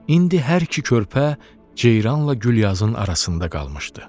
İndi hər iki körpə ceyranla Gülyazın arasında qalmışdı.